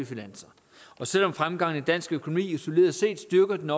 finanser og selv om fremgangen i dansk økonomi isoleret set styrker den